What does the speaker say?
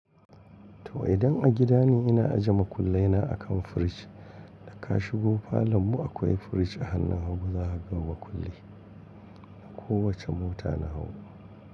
To idan a gida ne ina ajiye makullai na akan firij, da ka shigo falo mu akwai firij a hannun hagu za a raba kulli na kowace mota na hagu.